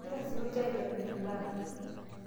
kegira sininje aitobirr imbaa